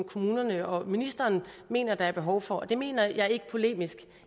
kommunerne og ministeren mener der er behov for og det mener jeg ikke polemisk